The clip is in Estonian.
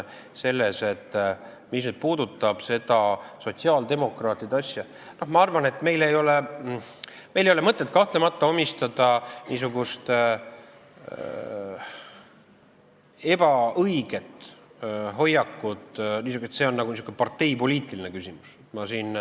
Aga mis puudutab seda sotsiaaldemokraatide asja, siis ma arvan, et meil ei ole kahtlemata mõtet omistada kellelegi niisugust ebaõiget hoiakut, et see oleks nagu parteipoliitiline küsimus.